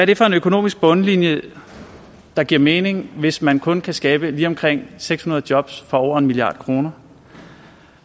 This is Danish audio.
det for en økonomisk bundlinje der giver mening hvis man kun kan skabe lige omkring seks hundrede jobs for over en milliard kr